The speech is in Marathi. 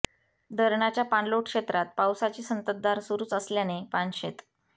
धरणाच्या पाणलोट क्षेत्रात पावसाची संतततधार सुरूच असल्याने पानशेत